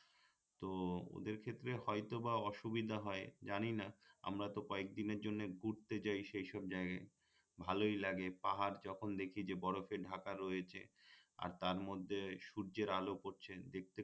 তো ওদের ক্ষেত্রে হয়তো বা অসুবিধা হয় জানিনা আমরা তো কয়েক দিনের জন্যে ঘুরতে যাই সেই সব জায়গায় ভালই লাগে পাহাড় যখন দেখি যে বরফে ঢাকা রয়েছে আর তার মধ্যে সূর্যের আলো পড়ছে দেখতে